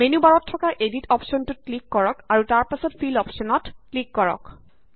menu বাৰত থকা edit অপশ্যনটোত ক্লিক কৰক আৰু তাৰ পাছত ফিলঅপশ্যনত ক্লিক কৰক